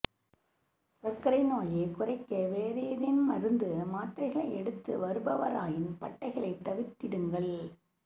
சர்க்கரை நோயைக் குறைக்க வேறு ஏதேனும் மருந்து மாத்திரைகளை எடுத்து வருபவராயின் பட்டையைத் தவிர்த்திடுங்கள்